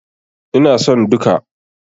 Ina son duka.